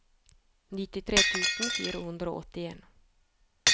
nittifire tusen fire hundre og åttien